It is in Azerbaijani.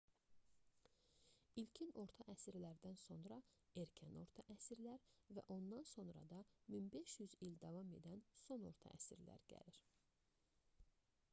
i̇lkin orta əsrlərdən sonra erkən orta əsrlər və ondan sonra da 1500 il davam edən son orta əsrlər gəlir